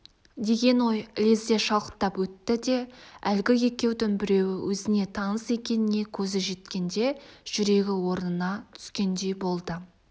деген ой лезде шалықтап өтті де әлгі екеудің біреуі өзіне таныс екеніне көзі жеткенде жүрегі орнына түскендей болды